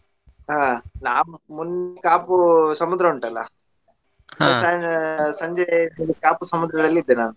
ಹಾ ನಾವ್ ಮೊನ್ನೆ ಕಾಪು ಸಮುದ್ರ ಉಂಟಲ್ಲಾ ಸಂಜೆ ಕಾಪು ಸಮುದ್ರದಲ್ಲಿ ಇದ್ದೆ ನಾನು.